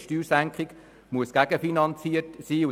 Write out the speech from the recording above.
Eine Steuersenkung muss gegenfinanziert werden.